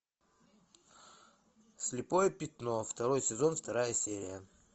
слепое пятно второй сезон вторая серия